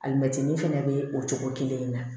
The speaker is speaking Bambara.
Alimɛtini fɛnɛ bɛ o cogo kelen in na